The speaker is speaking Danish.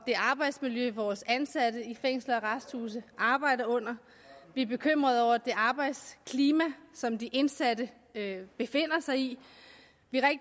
det arbejdsmiljø vores ansatte i fængsler og arresthuse arbejder under vi er bekymrede over det arbejdsklima som de indsatte befinder sig i vi